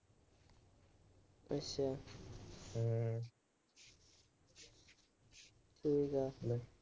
ਸਹੀ ਗੱਲ ਆ।